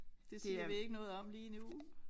Det siger vi ikke noget om lige nu